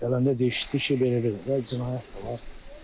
Gələndə də eşitdik ki, belə eləyiblər də cinayət.